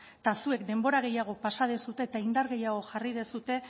eta zuek denbora gehiago pasa duzue eta indar gehiago jarri duzue